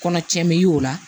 Kɔnɔtiɲɛ bɛ y'o la